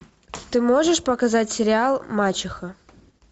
ты можешь показать сериал мачеха